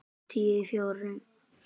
Tíu í fjórar.